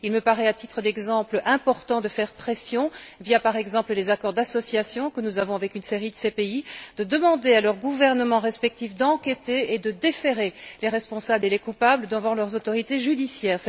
Il me paraît ainsi important de faire pression via, par exemple, les accords d'association que nous avons avec une série de ces pays, de demander à leurs gouvernements respectifs d'enquêter et de déférer les responsables et les coupables devant leurs autorités judiciaires.